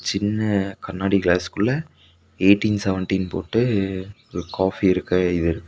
சின்ன கண்ணாடி கிளாஸ்க்குள்ள எய்டின் செவன்டினு போட்டு ஒரு காஃபி இருக்க எழுதிருக்கு.